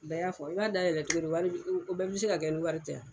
fɔ i b'a dayɛlɛ cogo di wari o bɛɛ bɛ se ka kɛ ni wari tɛ a.